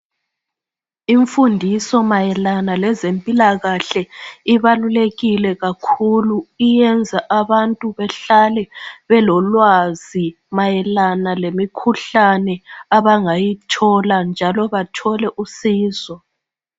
Imfundiso mayelana lezempilakahle ibalulekile kakhulu iyenza abantu behlale belolwazi mayelana lemikhuhlane abangayithola njalo bathole usizo